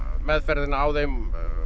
meðferðin á þeim